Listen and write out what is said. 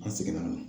An seginna an na